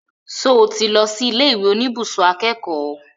Ṣo tí lọ sí ilé ìwé oníbùsùn akẹ́kọ̀ọ́?